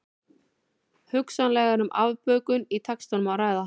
Hugsanlega er um afbökun í textanum að ræða.